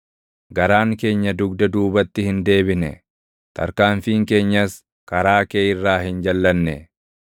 Garaan keenya dugda duubatti hin deebine; tarkaanfiin keenyas karaa kee irraa hin jalʼanne.